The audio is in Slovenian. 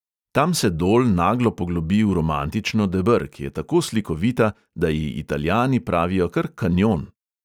Tam se dol naglo poglobi v romantično deber, ki je tako slikovita, da ji italijani pravijo kar kanjon.